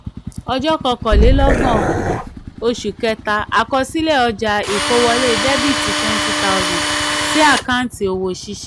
ọjọ́ kọkànlélọ́gbọ̀n oṣù kẹta àkọsílẹ̀ ọjà ìkówọlé dr twenty tohusand sí àkáǹtì òwò ṣíṣe. um